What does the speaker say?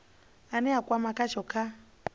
ane a kwama khasho kha